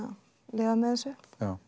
lifað með þessu